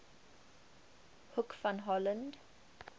hoek van holland